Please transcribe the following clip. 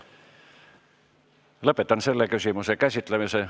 Lõpetan selle küsimuse käsitlemise.